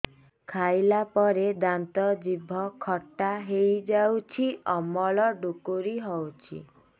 ଖାଇଲା ପରେ ଦାନ୍ତ ଜିଭ ଖଟା ହେଇଯାଉଛି ଅମ୍ଳ ଡ଼ୁକରି ହଉଛି